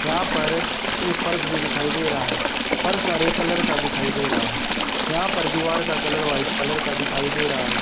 यहां पर एक फर्श भी दिखाई दे रहा है फर्श हरे कलर का दिखाई दे रहा है यहां पर दीवार का कलर वाइट कलर का दिखाई दे रहा है।